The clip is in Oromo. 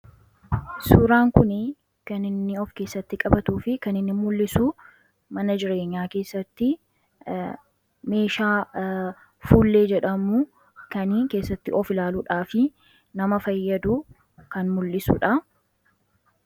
Suuraan kunii kan inni of keessatti qabatuu fi kan inni mul'isu mana jireenyaa keessatti meeshaa fuullee jedhamu ,kani keessatti of ilaaluudhaaf nama fayyadu, kan mul'isuu dha.